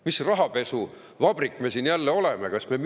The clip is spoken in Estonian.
Mis rahapesuvabrik me jälle oleme?